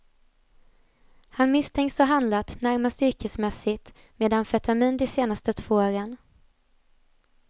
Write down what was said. Han misstänks ha handlat närmast yrkesmässigt med amfetamin de senaste två åren.